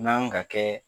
N'an ka kɛ